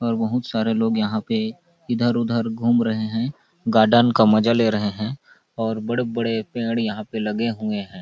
और बहुत सारा लोग यहाँ पे इधर उधर घूम रहे है गार्डन का मजा ले रहे है और बड़े-बड़े पेड़ यहाँ पे लगे हुए है।